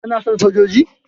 kana son sojoji?